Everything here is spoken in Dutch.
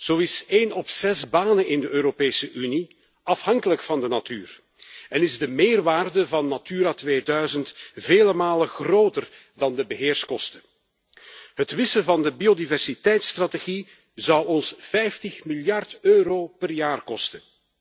Zo is één op de zes banen in de Europese Unie afhankelijk van de natuur en is de meerwaarde van Natura 2000 vele malen groter dan de beheerskosten. Het wissen van de biodiversiteitsstrategie zal ons 50 miljard euro per jaar kosten.